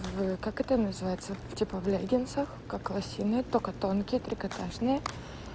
как это называется типа в леггинсах как лосины только тонкие трикотажные